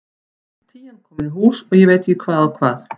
Tían komin í hús og ég veit ekki hvað og hvað.